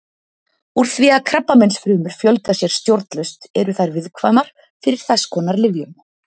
Úr því að krabbameinsfrumur fjölga sér stjórnlaust eru þær viðkvæmar fyrir þess konar lyfjum.